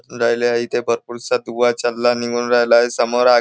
राहिले आहे इथे भरपूरसा ऊवा चाल्ला आणि निघून राहिला आहे आणि समोर आ --